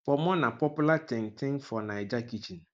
pomo na popular ting ting for naija kitchen